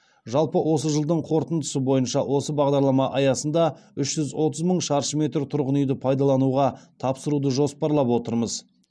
жалпы осы жылдың қорытындысы бойынша осы бағдарлама аясында үш жүз отыз мың шаршы метр тұрғын үйді пайдалануға тапсыруды жоспарлап отырмыз